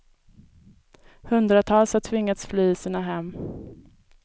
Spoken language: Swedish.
Hundratals har tvingats fly sina hem.